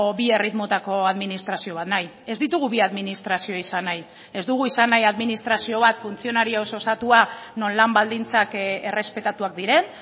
bi erritmotako administrazio bat nahi ez ditugu bi administrazio izan nahi ez dugu izan nahi administrazio bat funtzionarioz osatua non lan baldintzak errespetatuak diren